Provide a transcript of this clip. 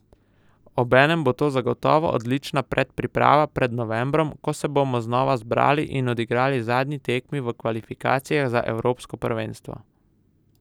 Obenem bo to zagotovo odlična predpriprava pred novembrom, ko se bomo znova zbrali in odigrali zadnji tekmi v kvalifikacijah za evropsko prvenstvo.